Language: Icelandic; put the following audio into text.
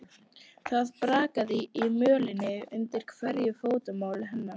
Það brakaði í mölinni undir hverju fótmáli hennar.